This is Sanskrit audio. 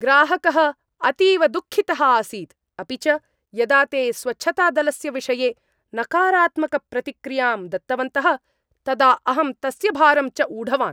ग्राहकः अतीव दुःखितः आसीत् अपि च यदा ते स्वच्छतादलस्य विषये नकारात्मकप्रतिक्रियां दत्तवन्तः तदा अहं तस्य भारं च ऊढवान्।